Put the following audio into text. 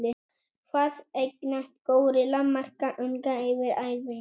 Hvað eignast górilla marga unga yfir ævina?